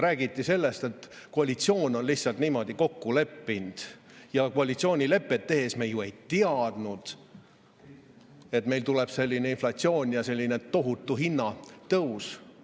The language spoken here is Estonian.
Räägiti sellest, et koalitsioon on lihtsalt niimoodi kokku leppinud ja koalitsioonilepet tehes me ju ei teadnud, et meil tuleb selline inflatsioon ja tohutu hinnatõus.